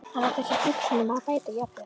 Hann átti sér hugsjón um að bæta jafnvel